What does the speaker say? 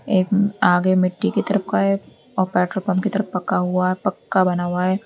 आगे मिट्टी की तरफ का है और पेट्रोल पंप की तरफ पका हुआ है पक्का बना हुआ है।